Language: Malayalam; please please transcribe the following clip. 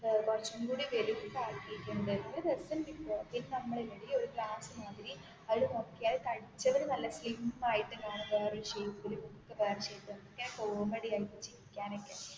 കുറച്ചും കൂടി വലുപ്പം അക്കിട്ടുണ്ട് നല്ല രസം ഉണ്ട് ഇപ്പോ നമ്മൾ ഇല്ലെടി ഒരു ഗ്ലാസ് മാതിരി അതിൽ നോക്കിയാൽ തടിച്ചവർ നല്ല സ്ലിം ആയിട്ട് കാണും വേറൊരു ഷേപ്പിൽ കോമഡി ആയിട്ട് ചിരിക്കാൻ ഒക്കേ